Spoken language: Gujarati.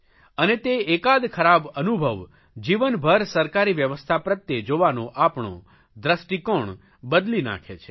અને તે એકાદ ખરાબ અનુભવ જીવનભર સરકારી વ્યવસ્થા પ્રત્યે જોવાનો આપણો દ્રષ્ટિકોણ બદલી નાખે છે